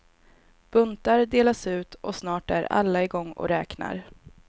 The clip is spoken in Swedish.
Buntar delas ut, och snart är alla i gång och räknar.